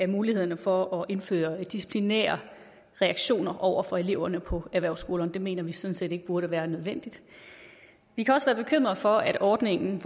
mulighederne for at indføre disciplinære reaktioner over for eleverne på erhvervsskolerne det mener vi sådan set ikke burde være nødvendigt vi kan også være bekymrede for at ordningen